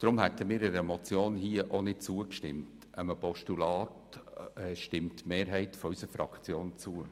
Deshalb hätten wir einer Motion nicht zugestimmt, einem Postulat stimmt die Mehrheit unserer Fraktion hingegen zu.